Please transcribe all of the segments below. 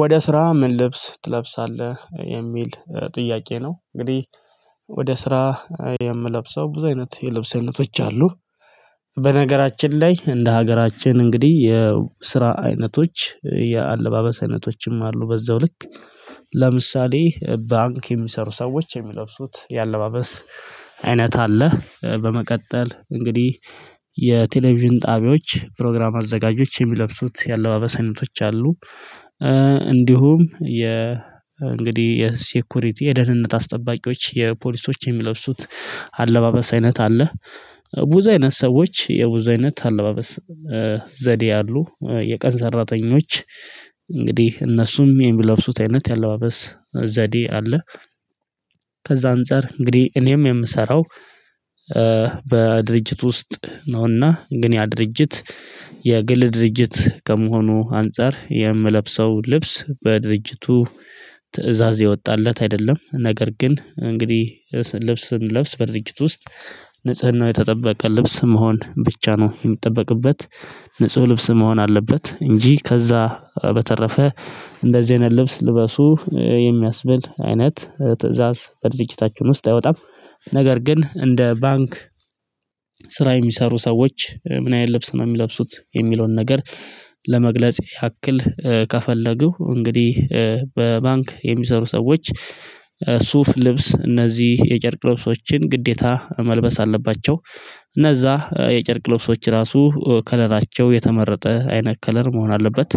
ወደ ስራ ምን ልብስ ትለብሳለህ የሚል ጥያቄ ነው። እንግዲህ ወደ ስራ የምለብሰው ብዙ አይነት የልብስ አይነቶች አሉ። በነገራችን ላይ እንደ ሀገራችን እንግዲህ የስራ አይነቶች የአለባበስ አይነቶችም አሉ በዛው ልክ ለምሳሌ ባንክ የሚሰሩ ሰዎች የሚለብሱት የአለባበስ አይነት አለ። በመቀጠል እንግዲህ የቴሌቪዥን ጣቢያዎች ፕሮግራም አዘጋጆች የሚለብሱት የአለባበስ አይነቶች አሉ። እንዲሁም የ እንግዲህ የሴኩሪቲ የደህንነት አስጠባቂዎች የፖሊሶች የሚለብሱት አለባበስ አይነት አለ። ብዙ አይነት ሰዎች የብዙ አይነት አለባበስ ዘዴ ያሉ የቀን ሰራተኞች እንግዲህ እነሱም የሚለብሱት አይነት የአለባበስ ዘዴ አለ። ከዛ አንፃር እንግዲህ እኔም የምሰራው። በድርጅት ውስጥ ነውና ግን ያ ድርጅት የግል ድርጅት ከመሆኑ አንፃር የምለብሰው ልብስ በድርጅቱ ትእዛዝ የወጣለት አይደለም። ነገር ግን እንግዲህ ልብስ ስንለብስ በድርጅት ውስጥ ንጽህናው የተጠበቀ ልብስ መሆን ብቻ ነው የሚጠበቅበት። ንጹህ ልብስ መሆን አለበት። እንጂ ከዛ በተረፈ እንደዚህ አይነት ልብስ ልበሱ የሚያስብል አይነት ትእዛዝ በድርጅታችን ውስጥ አይወጣም። ነገር ግን እንደ ባንክ ስራ የሚሰሩ ሰዎች ምን ያህል ልብስ ነው የሚለብሱት የሚለውን ነገር ለመግለጽ ያክል ከፈለጉ እንግዲህ በባንክ የሚሰሩ ሰዎች ሱፍ ልብስ እነዚህ የጨርቅ ልብሶችን ግዴታ መልበስ አለባቸው። እነዛ የጨርቅ ለብሶች ራሱ ከለራቸው የተመረጠ አይነት ከለር መሆን አለበት።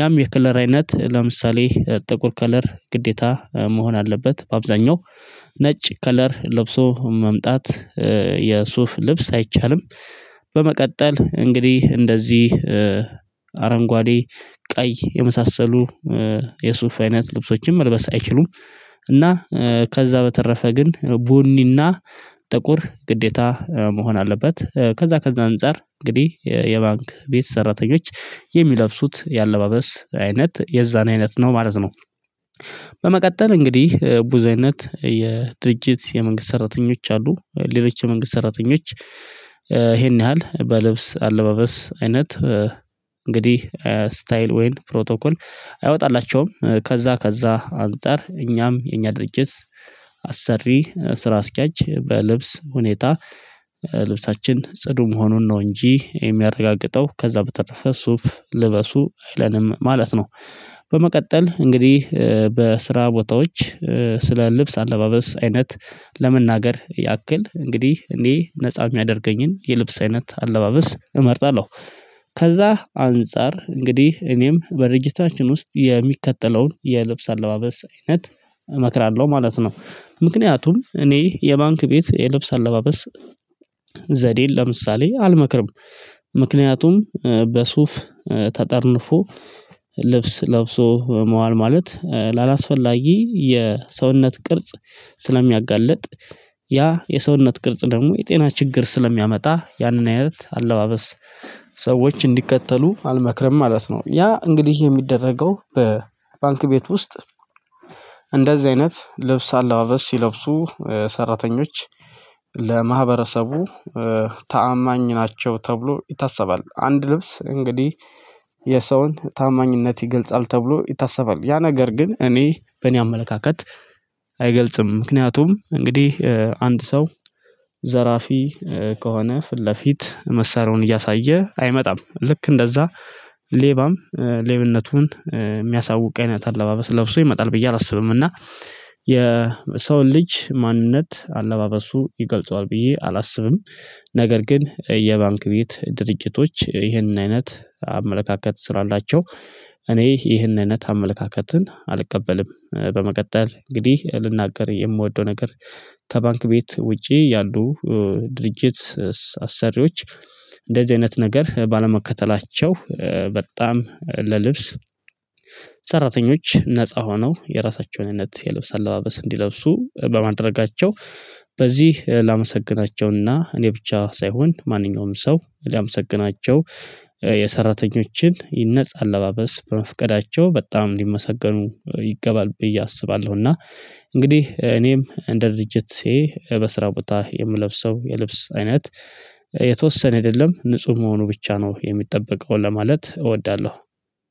ያም የከለር አይነት ለምሳሌ ጥቁር ከለር ግዴታ መሆን አለበት በአብዛኛው ነጭ ከለር ለብሶ መምጣት የሱፍ ልብስ አይቻልም። በመቀጠል እንግዲህ እንደዚህ አረንጓዴ ቀይ የመሳሰሉ የሱፍ አይነት አይችሉም። እና ከዛ በተረፈ ግን ቡኒና ጥቁር ግዴታ መሆን አለበት። ከዛ ከዛ አንፃር እንግዲህ የባንክ ቤት ሰራተኞች የሚለብሱት የአለባበስ አይነት የዛን አይነት ነው ማለት ነው። በመቀጠል እንግዲህ ብዙ አይነት የድርጅት የመንግስት ሰራተኞች አሉ ሌሎች የመንግስት ሰራተኞች ይሄን ያህል በልብስ አለባበስ አይነት እንግዲህ ስታይል ወይን ፕሮቶኮል አይወጣላቸውም። ከዛ ከዛ አንፃር እኛም የእኛ ድርጅት አሰሪ ስራ አስኪያጅ በልብስ ሁኔታ ልብሳችን ጽዱ መሆኑን ነው እንጂ የሚያረጋግጠው ከዛ በተረፈ ሱፍ ልበሱ አይለንም ማለት ነው። በመቀጠል እንግዲህ በስራ ቦታዎች ስለ ልብስ አለባበስ አይነት ለመናገር ያክል እንግዲህ እኔ ነፃ የሚያደርገኝን የልብስ አይነት አለባበስ እመርጣለሁ። ከዛ አንፃር እንግዲህ እኔም በድርጅታችን ውስጥ የሚከተለውን የልብስ አለባበስ አይነት እመክራለሁ ማለት ነው። ምክንያቱም እኔ የባንክ ቤት የልብስ አለባበስ ዘዴን ለምሳሌ አልመክርም። ምክንያቱም በሱፍ ተጠርንፎ ልብስ ለብሶ መዋል ማለት ላላስፈላጊ የሰውነት ቅርጽ ስለሚያጋልጥ። ያ የሰውነት ቅርጽ ደግሞ የጤና ችግር ስለሚያመጣ ያንን አይነት አለባበስ ሰዎች እንዲከተሉ አልመክርም ማለት ነው። ያ እንግዲህ የሚደረገው በባንክ ቤት ውስጥ እንደዚህ አይነት ልብስ አለባበስ ሲለብሱ ሰራተኞች ለማህበረሰቡ ታማኝ ናቸው ተብሎ ይታሰባል። አንድ ልብስ እንግዲህ የሰውን ታማኝነት ይገልጻል ተብሎ ይታሰባል። ያ ነገር ግን እኔ በእኔ አመለካከት አይገልጽም። ምክንያቱም እንግዲህ አንድ ሰው ዘራፊ ከሆነ ፊት ለፊት መሳሪያውን እያሳየ አይመጣም ልክ እንደዛ ሌባም ሌብነቱን የሚያሳውቅ አይነት አለባበስ ለብሶ ይመጣል ብዬ አላስብም። እና የሰውን ልጅ ማንነት አለባበሱ ይገልጸዋል ብዬ አላስብም። ነገር ግን የባንክ ቤት ድርጅቶች ይህንን አይነት አመለካከት ስራ አላቸው። እኔ ይህንን አይነት አመለካከትን አልቀበልም። በመቀጠል እንግዲህ ልናገር የምወደው ነገር። ተባንክ ቤት ውጪ ያሉ ድርጅት አሰሪዎች እንደዚህ አይነት ነገር ባለመከተላቸው በጣም ለልብስ ሰራተኞች ነፃ ሆነው የራሳቸውን አይነት የልብስ አለባበስ እንዲለብሱ በማድረጋቸው። በዚህ ላመሰግናቸውና እኔ ብቻ ሳይሆን ማንኛውም ሰው ላመሰግናቸው የሰራተኞችን ነፃ አለባበስ በመፍቀዳቸው በጣም ሊመሰገኑ ይገባል ብዬ አስባለሁ። እና እንግዲህ እኔም እንደ ድርጅት በስራው ቦታ የምለብሰው የልብስ አይነት የተወሰነ አይደለም የለም ንጹህ መሆኑ ብቻ ነው የሚጠበቀው ለማለት እወዳለሁ።